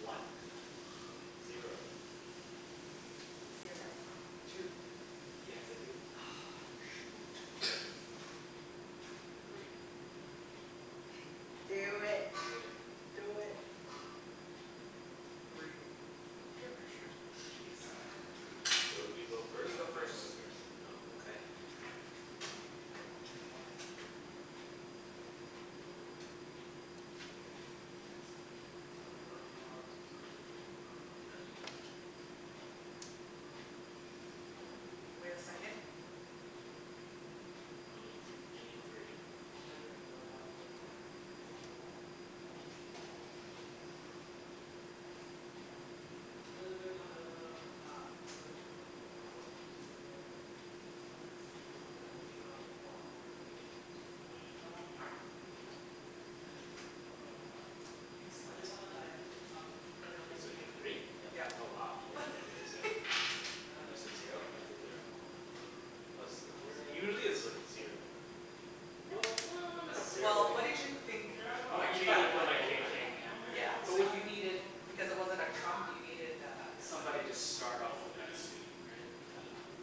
One Zero Zero Two You can't say two. Ugh shoot! Three. Do it. Do it. Do it. Three. Peer pressured, geez. So you go first? You No, go Phil first goes first. Oh okay. All right, Susie win, so now you go. Wait a second. You need th- you need three. Excellent. K, so you have three? Yep. Yep. Oh wow. You're gonna get yours now. And you said zero? I said zero. Wenny said So zero usually it's like zero. Well, no not Well, necessarily what did you think My king, I that thought one. my king. Yeah. So you needed, because it wasn't a trump you needed uh Somebody just start off with that suit, right?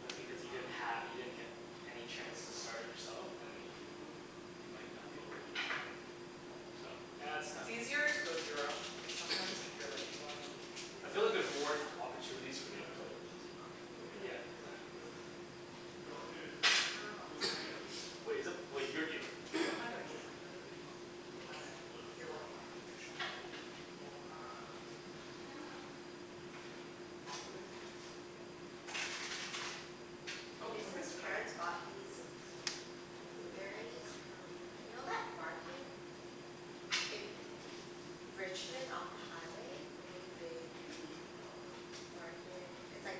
Yeah. But because you didn't ha- you didn't get any chance to start it yourself then you might not be able to win. So, yeah it's It's tough. easier to go zero, sometimes if you're like in between. I feel like there's more opportunities for you to play a losing card. Yeah, Mhm. exactly. Exactly. Wait, is it, wait, you're dealing. What am I doing, sorry. Oh My bad. You are lucky I helped you shuffle. Jason's parents bought these blueberries from, you know that market in Richmond off the highway, the really big market, it's like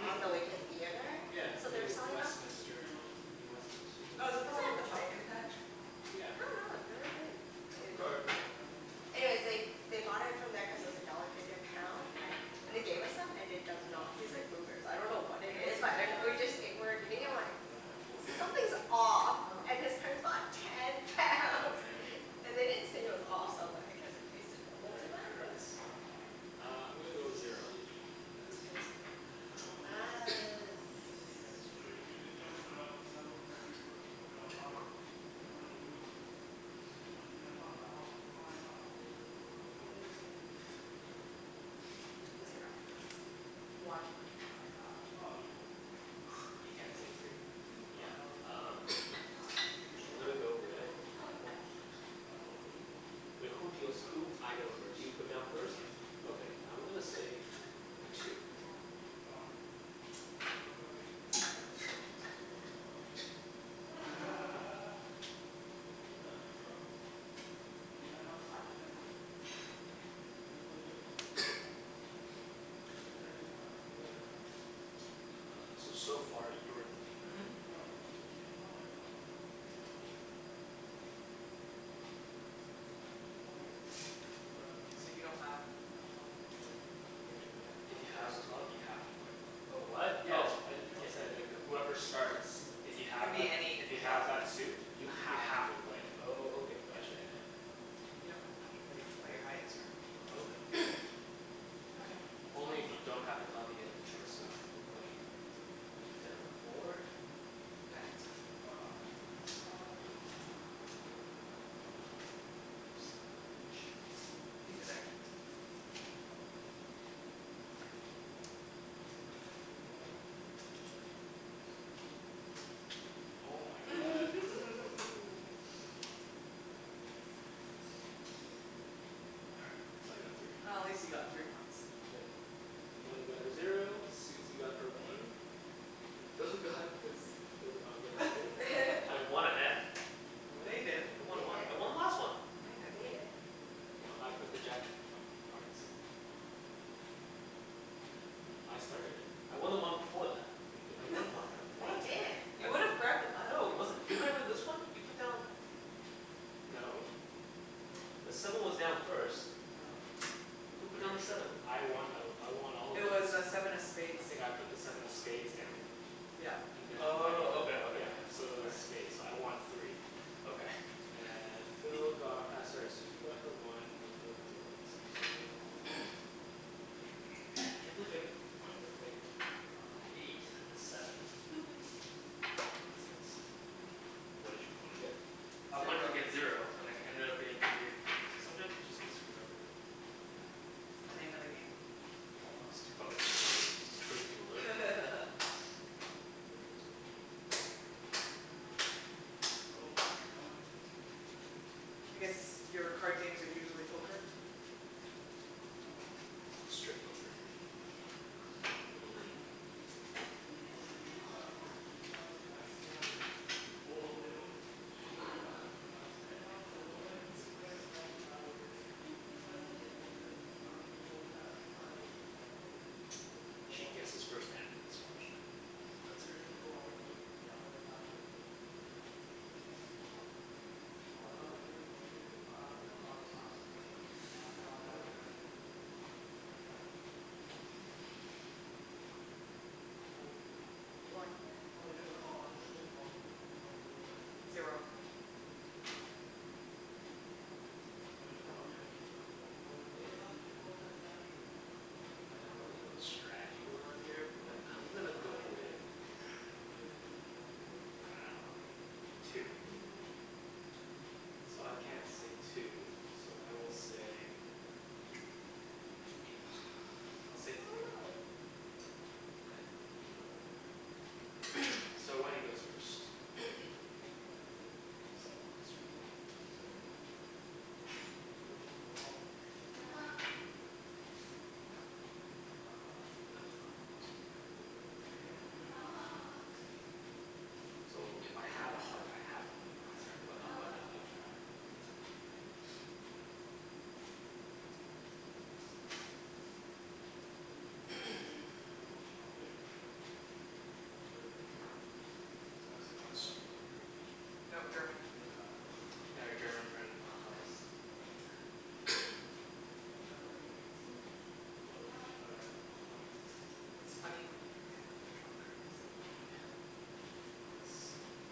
on the way to a theatre? Yeah So they were Near selling them Westminister, New Westminister Oh is whatever that the one with the pumpkin patch I Yeah. dunno, I've never been. Trump card. Yeah. Anyways they, they bought it from there cuz it was a dollar fifty a pound but, and they gave us some and it does not taste like blueberries, I dunno what it is But it, What? we What? just ate, we're eating and we're like, there's, something's off. Oh. And his parents bought ten Oh pounds. man And they didn't say it was off so I'm like I guess it tasted normal to They're them? currants? Uh, I'm gonna go zero. Yeah, it was weird. Uh hmm zero. One You can't say three Yeah, um. I'm gonna go with, wait who deals who I go first. You put down first? Yeah. Okay I'm gonna say two. Uh, so so far you're in the lead, right? Mhm. Mhm. Okay. So you don't have a club? You have to put down a If club you have first. a club you have to play a club. Oh what? Yeah, Oh. I, whoever starts, if you It can have be that, any if you have club. that suit You You have to have to play play it, it. oh Okay, Yeah got you. yeah yeah. You don't have to play, play your highest or anything though. Okay. Only if you don't have a club you get the choice of playing whatever. You put down four. Diamonds more Diamonds You son of a bitch. Easy there. Oh my god. All right, so I got three. Oh at least you got three points. Yeah. Wenny got her zero, Susie got her one, and Phil got his, Phil did not get his two. I w- I won a hand No, you didn't I No, won you one. I didn't won the last one! No, you No, you didn't didn't No, I put the jack of of of hearts. Yeah, I started it. I won the one before that. No, you I didn't. won one round, No, what? you didn't You would've grabbed the No, pile. it wasn't, didn't I win this one? You put down No. The seven was down first. No. No, Who I'm put down pretty the sure seven? I won though, I won all of It those. was uh seven of spades I think I put the seven of spades down. Yeah. And Wenny Oh put Okay, okay, yeah yeah. So it was spades, so I won three Okay. Uh, Phil got uh sorry Susie got her one, and Phil got zero points there. Man! Can't believe I got one with like an eight and a seven. That sucks. Mhm. What did you wanna get? I wanted to get Zero. zero, and it ended up being three. So sometimes you just get screwed over. Yeah. It's the name of the game, almost. Oh, it's pretty, pretty low. I guess your card games are usually poker? Strip poker, usually. Mhm She guesses first and plays first, right? That's right. One. Zero. K, I acutally don't really know the strategy going on here but I'm gonna go with two. So I can't say two, so I will say, I'll say three. Okay. So Wenny goes first Sorry, I got distracted. Okay. So if I have a heart I have to play the That's heart. But right. otherwise I play whatever. That's right. Okay. So this is like Australian card game? No, German. Yeah, our German friend taught us. It's funny when you forget what the trump card is. Yeah. That's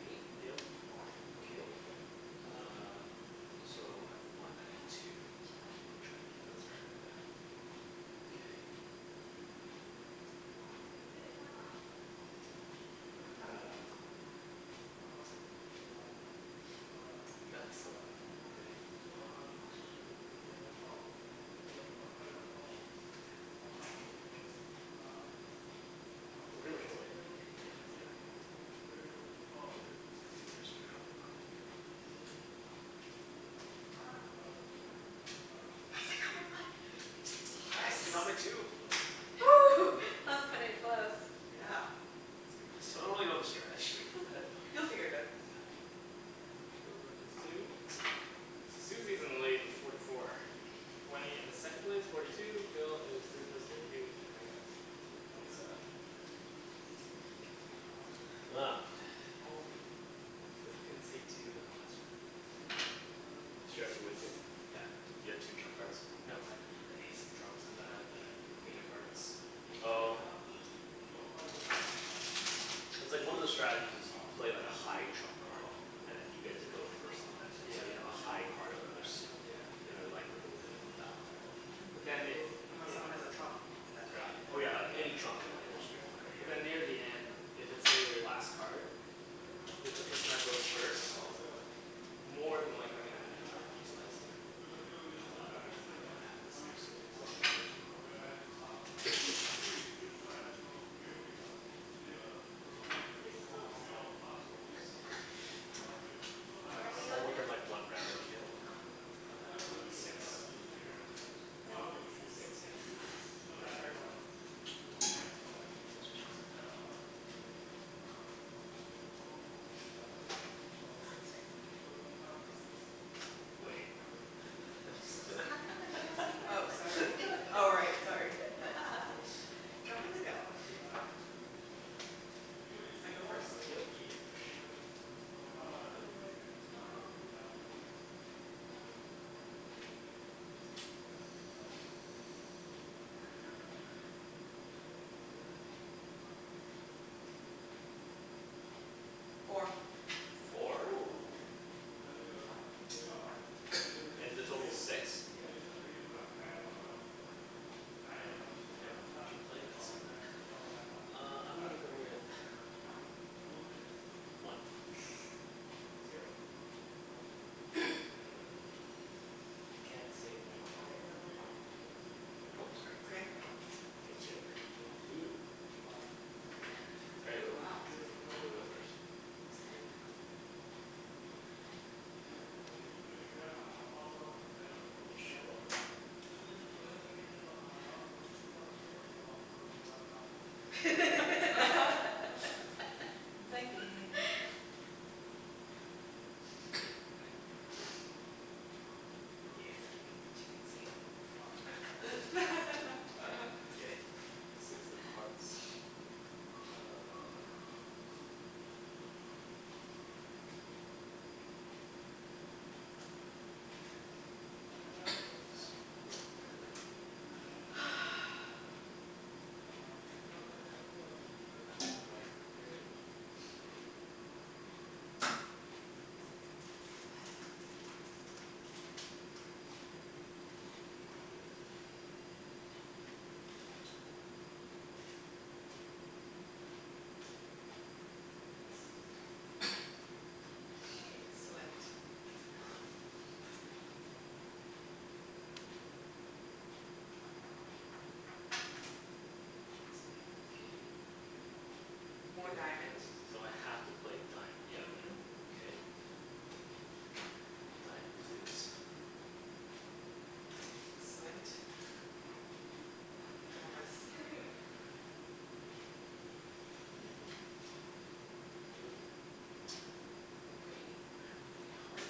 me? Yep. Okay uh, so I have one. I need two, it's what I wanna try and get. That's right Yeah, okay. You So got this Phil one. got that one. Okay. Oh shoot. I pretty much know I wanna beat Kenny. Yeah, exactly. Yeah, people were just figuring out what card to get rid of. Yeah. Yes, I got my one Nice. Nice, I got my two! that's cutting it close. Yeah. That's I still don't good. really know the strategy, but okay. You'll figure it out. Yeah. Phil got his two, so Susie is in the lead with forty four, Wenny is second place, forty two, Phil is third place, thirty two, and I got twenty seven. It's cuz I couldn't say two that last round. Did you actually win two? Yeah, I got two. You got two trump cards? No, I had the ace of trumps and then I had the the Queen of Hearts which is pretty Oh. high. Cuz like one of the strategies is you play like a high trump card and then you get to go first and Yeah. so you Mhm. have a high card of another suit, Yeah then you're likely to win Mhm. that one as well. Mhm. But then if Unless someone has a trump that Yeah. Oh yeah, like any trump and then you're screwed, okay But yeah. then near the end, if it's say, their last card, the the person that goes first is more than likely gonna win that trump just cuz like you know the other people might not have the same suit as that person. Pretty close. It is pretty close. What are we Oh on now? within like one round of each other? Uh, Six yeah I'm a bit off. What are we on? Six? Six, yeah. That's what she said. Six, right. one two three four five six Wait Oh sorry, oh right, sorry. Jumpin' the gun. I go first? Yep Yesh Four Four?! Woo. And the total's six? Yeah. Damn, what you playin' there, Susie. Uh I'm gonna go with one. All right, zero. You can't say I one know Oh, It's sorry. okay. K two. Two?! Damn Two, wow Susie, you go first I'm scared now. You should be. I'm thinking. Yes, gimme the chicken skin. K, six of hearts. Uh One for Wenny. What did I? I did one, okay Excellent. King? More diamond So I have to play Yep diamond. Mhm. Okay. Diamond it is. Excellent. I'm nervous. Mm. Okay, now I have to play heart.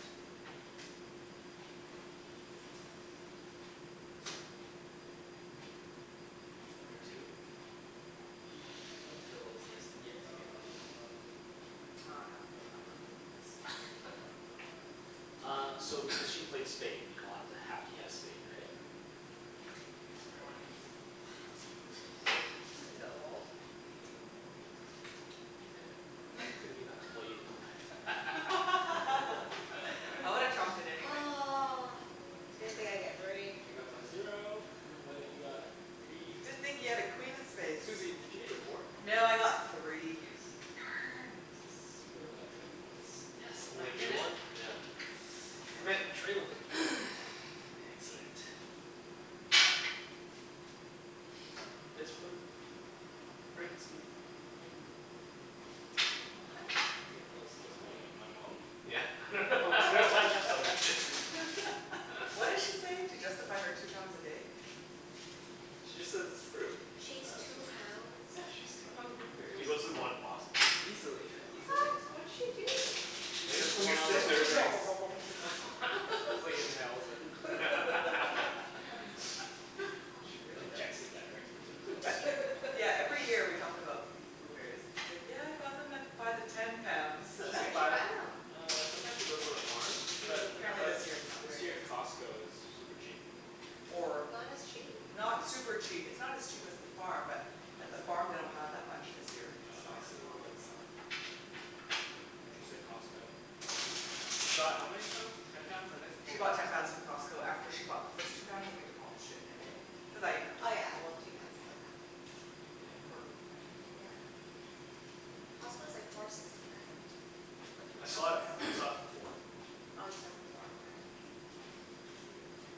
Wenny's got her two. Phil has yes, yet to get his one I dunno, I'm not gonna win this. Uh, so if because she played spade we all have to, have to Yeah play spade, right? Sorry, Wenk. Wenk You're not supposed to win No. Damn it, why couldn't you have played a diamond. I would've trumped it anyway. Ugh, didn't think I'd get three I got my zero, Wenny got three Didn't think you had a queen of spades Susie, did you get your four? No, I got three. Nice. S- Darn! so Phil got zero points. Yes! So I'm only back in you it! won? Yeah. Damn it, I'm trailin'. Excellent. It's fruit. Fruit's good for you. What? I think Phil's supposed to be my- my mom? Yeah, I dunno, I dunno why I just thought of What did she say? To justify her two pounds a day? She just says it's fruit. She eats two pounds? Yeah, she eats two pounds of She blueberries. goes through one box. Easily, yeah. What? What did she do? I guess, when you're sitting there you just nom nom nom nom nom She just like inhales it. She injects it directly into her bloodstream Yeah every year we talk about these blueberries and she's like yeah I bought them at, by the ten pounds. She Where can did she buy, buy them? uh sometimes she goes to the farm But But Mm. apparently but this year is not very this year good. Costco is super cheap. Or Not as cheap Not super Really? cheap, it's not as cheap as the farm but at the farm they don't have that much this year in Oh I stock, see. cuz of the late summer. She said Costco, she she bought how many pounds? Ten pounds I think, oh She bought ten pounds from Costco after she bought the first two pounds and we demolished it in a day. Cuz Oh. I ate them too. Oh yeah well two pounds is like nothing Yeah. Yeah. It's like, Costco's like four sixty nine a- for two I saw pounds it, when I I went. saw it for four. Oh you saw it for four, okay.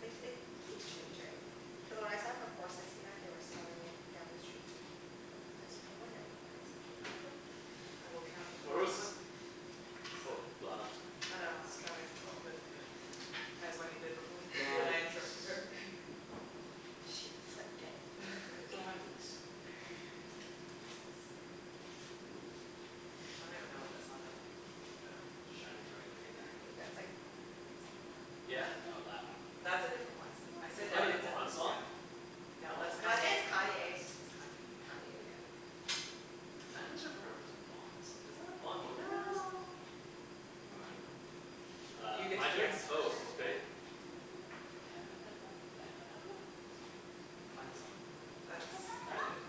Like it keeps changing. Cuz when I saw it for four sixty nine they were selling it down the street from a place for one ninety nine. So I was like, Where was this? nope. Oh Seven, f- um. yeah seven As Wenny did before but I Diamonds interrupted her. She flipped it for me. Diamonds Diamonds in the sky I don't even know what that song is Yeah. Shining bright like a diamond? Yeah, it's like, "Diamonds are Yeah forever." Oh, that one That's a different one. I Was said that a "diamonds in the Bond song? sky". No, No, I think it's it's Kanye West. Kanye. It's Kanye Kanye, yeah. Diamonds are forever's a bond song, isn't that a Bond movie? No. No. Well, I dunno Uh, my turn? Oh okay. Foreva eva, foreva eva. Kanye song That's Diamond.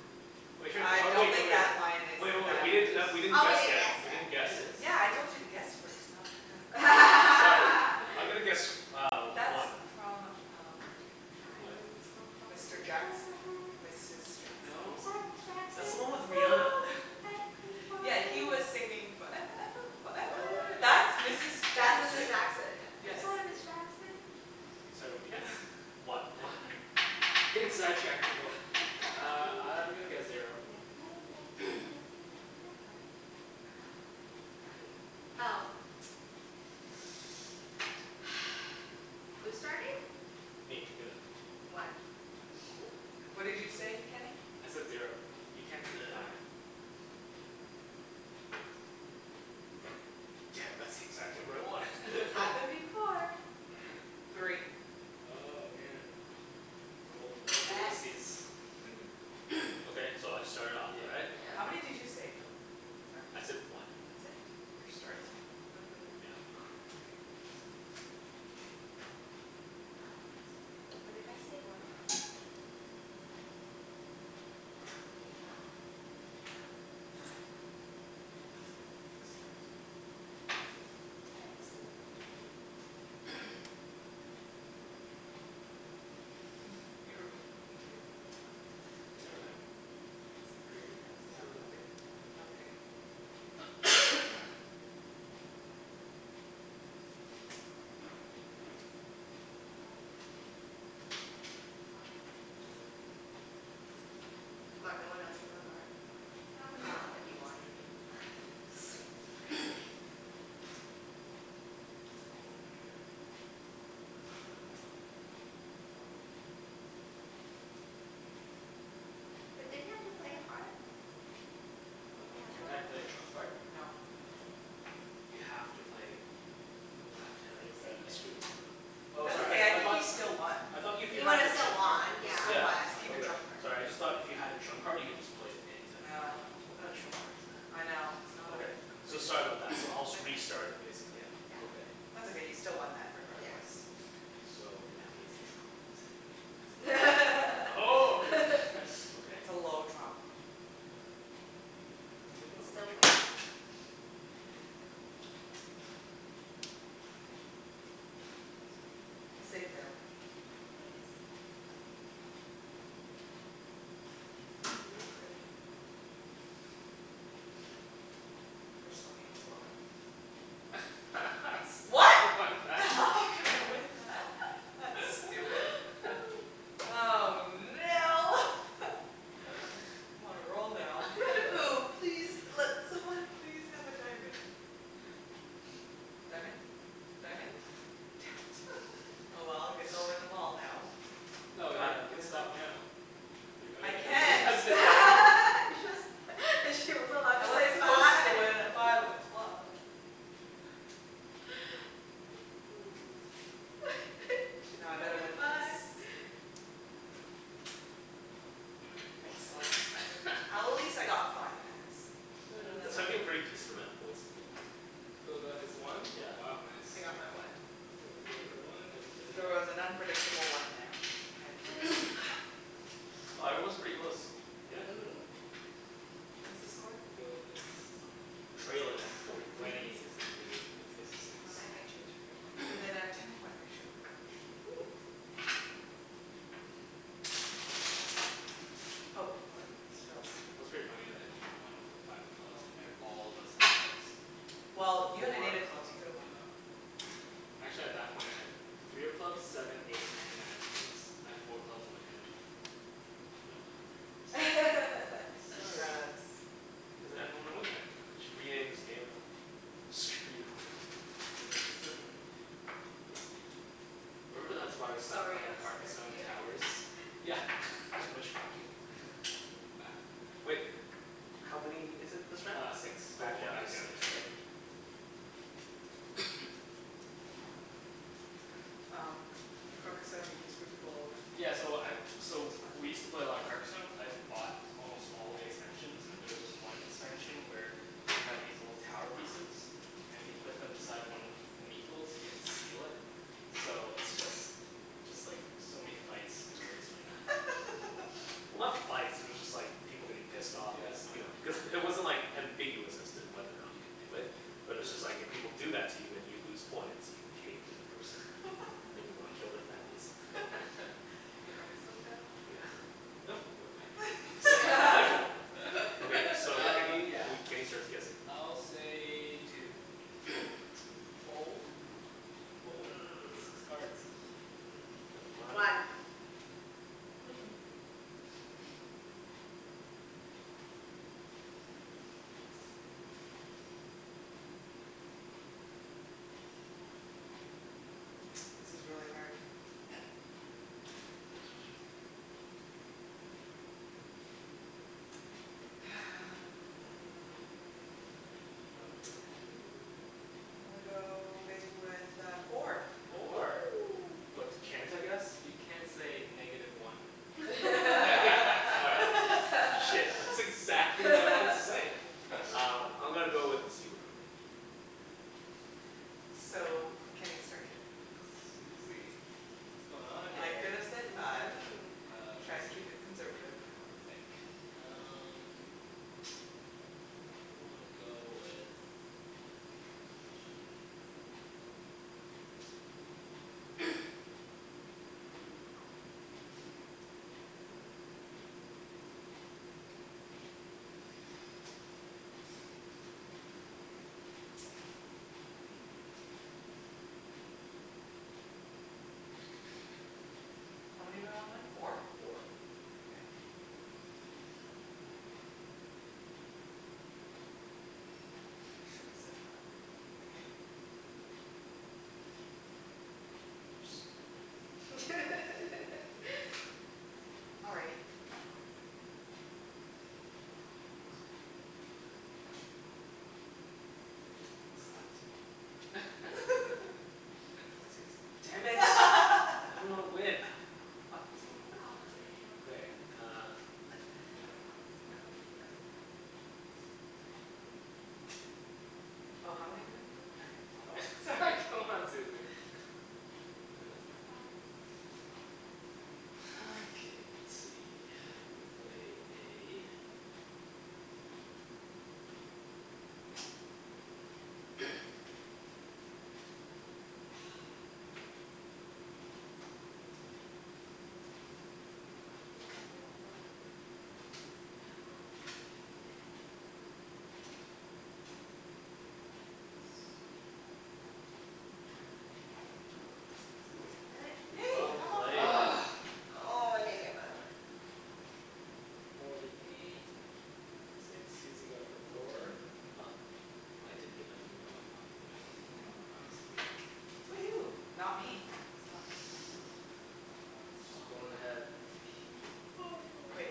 Wait, I oh don't wait, think oh that line wait. is Wait wait in wait, that we didn't not, we s- didn't Oh we guess didn't yet. guess We yet didn't guess. Yeah, Yeah, I it is told you to guess first not put down. I'm gonna guess uh That's one. from um Diamonds are Mr forever Jackson, Mrs Jackson I'm No? sorry, That's Ms the one with Jackson. Rihanna. Yeah, he was singing "foreva eva foreva No eva." That's way! Mrs That's Mrs Jackson Jackson yeah. I'm sorry, Ms Jackson. Sorry, what'd you guess? One. One? Getting sidetracked, people. Uh, I'm gonna guess zero. Wenny? Oh. Who's starting? Me. Philip. One. Whoa. What did you say, Kenny? I said zero. You can't say five. Damn, that's the exact number I wanted. It's happened before. Three Oh, man. Okay, so I start it off, Yeah. right? Yeah. How many did you say, Phil? I said one. That's it? You're starting. Mhm. Yeah. No way. C'mon guys What did I say, one? Excellent. Excellent. You were thinking you would win on a- You never know. Crazier things have happened. C'mon, no one else has a heart. I dunno, but you won. Sweet! Okay But didn't you have to play a heart? If you had a Can't I heart? play a trump card? No. No. You have to play Oh damn But it, you okay, saved I it screwed this one up. Oh That's sorry, okay I I I think thought you still won I thought if you He have would've the still trump card won, yeah Yeah, Yeah. it's Keep your Okay, trump fine card sorry, I just thought if you had a trump card you can just play it anytime you want. No What kind of No trump card is that? I know, it's not a Okay, f- so complete sorry trump- about that. So I'll s- restart it basically. Yeah. That's okay you still won that Yes. regardless. Okay so But now he has a trump in That's his hand okay Oh. Okay. It's a low trump Yeah, don't You make can fun of my still trump. win. I'll save you there Wenny. Thanks. Oh, you need three. Personal gain as well. What?! what is that? That's stupid. Oh no! I'm on a roll now. Oh please, let someone please have a diamond. Diamond? Diamond? Damn it, oh well, guess I'll win them all now. No, you you can stop now, at three Oh I yeah, nobody has can't. a diamond You just, she wasn't allowed to I say was supposed five to win at five of club. She's Now I gonna better win win this. five Yep, you won Excellent. At least I it. got five points That's actually a pretty decent amount of points to win. Phil got his one Yeah. Wow nice. I got my one. Wenny got her one, everybody She got was an unpredictable one there. Wow, everyone's pretty close. Yeah. Mhm. What is the score? Phil is I'm trailin' at forty three. Wenny is in the lead with fifty six. Within a ten point ratio Mhm. Oh, Phil's. It was pretty funny that you won with a five of clubs at and all of us had clubs, Well, you had four a clubs. You could've won. Actually at that point I had three of clubs, seven, eight and nine of clubs. I had four clubs in my hand, but I played three of clubs Sorry Cuz I didn't want to win that They should rename this game. Screw you over game. Remember that's why we stopped playing Carcassonne Towers? Yeah, too much fucking. Wait, how many is it this round? Uh six, so we're Back going down to back down six, yeah. right? Um, Carcassonne can screw people over? Yeah so I so we used to play a lot of Carcasonne, I bought almost all the expansions, and there's this one expansion where you have these little tower pieces, and if you put them beside one of the Meeple's you get to steal it. So it's just, just like so many fights arose from that. Well, not fights, they were just like people getting pissed off. Cuz you know, cuz Yeah it wasn't like ambiguous as to whether or not you can do it, but it's just like if people do that to you and you lose points, you'd hate the other person. And you wanna kill their families. Carcasonne families? Yeah. No, real families Okay, so Uh Kenny, yeah we Kenny starts guessing I'll say two. Six cards. One This is really hard. That's what she said. Hum, I'm gonna go big with uh four. Four Woo. What can't I guess? You can't say negative one. All right, shit, that's exactly what I wanted to say! Uh, I'm gonna go with zero. So Kenny start, k Susie, what's going on I here could've said five Mm. Uh lemme Try to keep see it conservative. Lemme think, um probably wanna go with this one. Alrighty. How many do I want? Four? Four. Okay. Um, should've said five You think you're so great. Alrighty. Excellent Damn it. I didn't wanna win. Ah, f- fuck this game. Okay, uh Oh how many do I need to win? Oh yeah four, sorry C'mon, Susie. All right, that's mine. Okay let's see, I will play a Did not get my one. Damn it. Wow, well done Susie. Damn it. Yay! Well played. Ugh! Oh, I didn't get my one. Forty eight, fifty six, Susie got her four. I got, I didn't get my zero but I got one. You get one Fourty four. point. Wow Susie. Woohoo, not me. It's not me. She's pullin' ahead.